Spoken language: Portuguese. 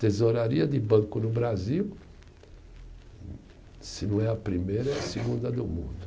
Tesouraria de banco no Brasil, se não é a primeira, é a segunda do mundo.